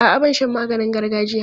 A'a, ban sha maganin gargajiya.